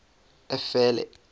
efele